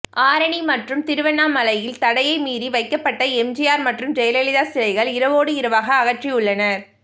ஆரணி மற்றும திருவண்ணமலையில் தடையை மீறி வைக்கப்பட்ட எம்ஜிஆர் மற்றும் ஜெயலலிதா சிலைகள் இரவோடு இரவாக அகற்றியுள்ளனர்